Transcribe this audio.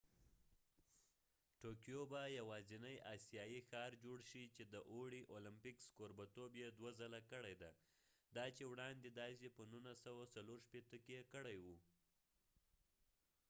ټوکیو به یواځینۍ آسیايي ښار جوړ شي چې د اوړي اولمپکس کوربتوب يې دوه ځله کړی دی دا چې وړاندې داسې په 1964 کې کړي وو